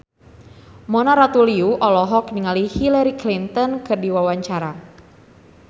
Mona Ratuliu olohok ningali Hillary Clinton keur diwawancara